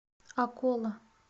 акола